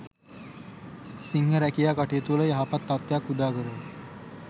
සිංහ රැකියා කටයුතුවල යහපත් තත්ත්වයක් උදාකරයි.